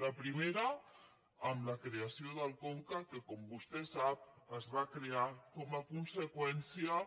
la primera amb la creació del conca que com vostè sap es va crear com a conseqüència